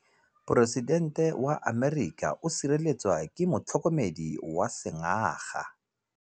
Poresitêntê wa Amerika o sireletswa ke motlhokomedi wa sengaga.